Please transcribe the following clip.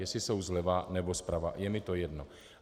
Jestli jsou zleva nebo zprava, je mi to jedno.